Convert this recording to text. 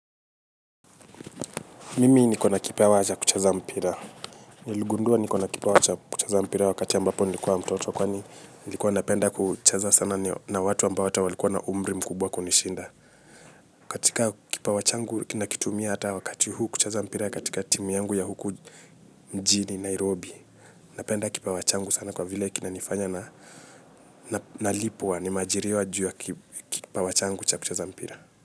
Mimi nikona kipawa cha kucheza mpira. Niligundua nikona kipawa cha kucheza mpira wakati ambapo nilikuwa mtoto kwani nilikuwa napenda kucheza sana na watu ambao walikuwa hata na umri mkubwa kunishinda. Katika kipawa changu, ninakitumia hata wakati huu kucheza mpira katika timu yangu ya huku mjini Nairobi. Napenda kipawa changu sana kwa vile kinanifanya nalipwa, nimeajiriwa kwa sababu ya kipawa changu cha kucheza mpira.